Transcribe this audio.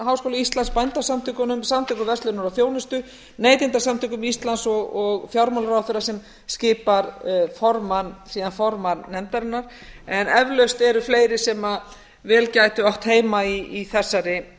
háskóla íslands bændasamtökunum samtökum verslunar og þjónustu neytendasamtökum íslands og fjármálaráðherra sem skipar síðan formann nefndarinnar en eflaust eru fleiri sem vel gætu átt heima í þessari